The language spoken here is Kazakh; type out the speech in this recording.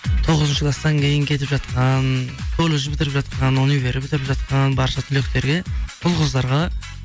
тоғызыншы класстан кейін кетіп жатқан колледж бітіріп жатқан универ бітіріп жатқан барша түлектерге ұл қыздарға